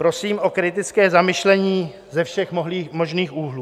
Prosím o kritické zamyšlení ze všech možných úhlů.